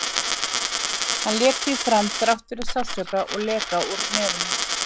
Hann lék því áfram þrátt fyrir sársauka og leka úr nefinu.